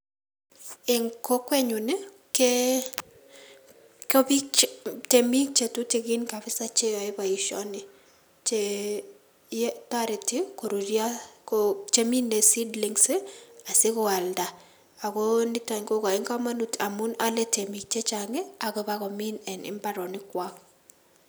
En kokwenyun Nii ko beik chetutukin kabisa cheyoe boishoni Chee toreti koruruio chemine seedlings ii asikwalda